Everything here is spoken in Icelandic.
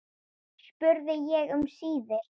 spurði ég um síðir.